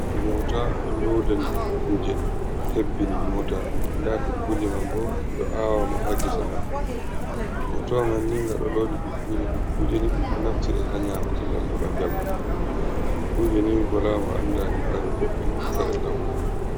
Mota ɗo lodani dukkuje hebbini mota, nda dukkuje man bo ɗiɗo awama ha gese man. Motawa manni nga ɗo lodi dukkuje, dukkuje ni ɗum ɗo naftira ha nyamuki ngam heɓa njamu, dukkuje ni wola mo andani kare boɗɗum kare lambu.